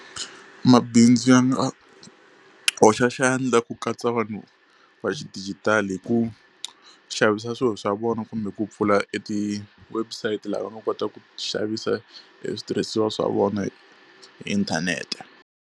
Mabindzu ya nga hoxa xandla ku katsa vanhu va xidijitali hi ku xavisa swilo swa vona kumbe ku pfula e ti-website laha va nga kota ku xavisa e switirhisiwa swa vona hi inthanete.